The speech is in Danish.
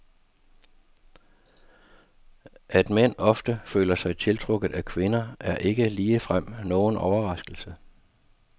At mænd ofte føler sig tiltrukket af kvinder, er ikke ligefrem nogen overraskelse.